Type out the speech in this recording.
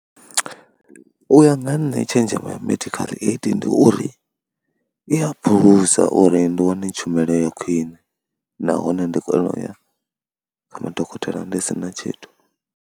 U ya nga nṋe tshenzhemo ya medical aid ndi uri i ya mphulusa uri ndi wane tshumelo ya khwine nahone ndi kone u ya kha madokotela ndi si na tshithu.